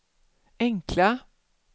enkla